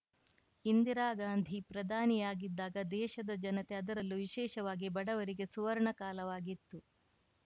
ಇಂದಿರಾ ಗಾಂಧಿ ಪ್ರಧಾನಿಯಾಗಿದ್ದಾಗ ದೇಶದ ಜನತೆ ಅದರಲ್ಲೂ ವಿಶೇಷವಾಗಿ ಬಡವರಿಗೆ ಸುವರ್ಣ ಕಾಲವಾಗಿತ್ತು